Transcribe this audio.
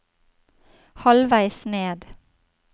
halvveis ned